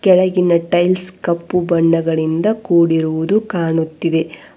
ಕೆಳಗಿನ ಟೈಲ್ಸ್ ಕಪ್ಪು ಬಣ್ಣಗಳಿಂದ ಕೂಡಿರುವುದು ಕಾಣುತ್ತಿದೆ.